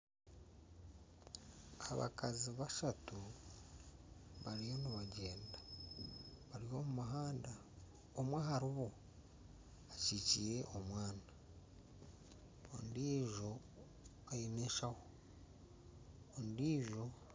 Abakazi bashatu bariyo nibagyenda bari omu muhanda omwe aharibo akyikyire omwana, ondijo aine eshaho